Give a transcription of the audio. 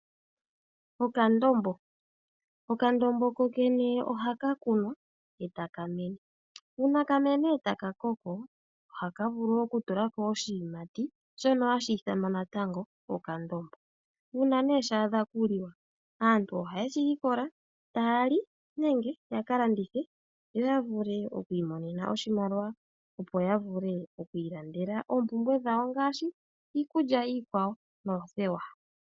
Okandombo, okandombo kokene ohaka kunwa etaka mene uuna kamene etaka koko ohaka vulu woo okutula ko oshiyimati sho oshiyimati shono hashi ithanwa natango okandombo, uuna nee shaadha okuliwa aantu ohaye shi likola taali nenge yaka landithe yoyavule okwiimonena oshimaliwa opo yavule okwiilandela oopumbwe dhawo ngaashi iikulya iikwawo noothewa.